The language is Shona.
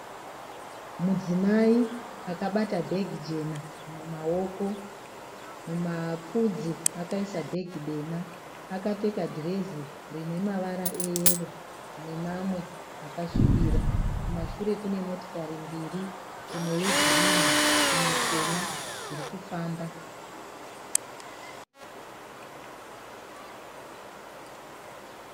Mudzimai akabata bhegi jena mumaoko. Mumapfudzi akaisa bhegi dema. Akapfeka dhirezi rinemavara eyero nemamwe akasvibira. Kumashure kune motikari mbiri, imwe ye girinhi imwe chena dzirikufamba.